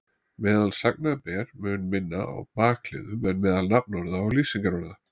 Meðal sagna ber mun minna á bakliðum en meðal nafnorða og lýsingarorða.